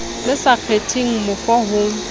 le sa kgetheng mofo ho